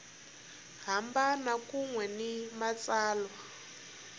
hambana kun we ni matsalwa